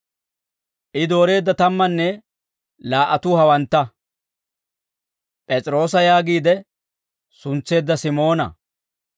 I dooreedda tammanne laa"atuu hawantta: P'es'iroosa yaagiide suntseedda Simoona,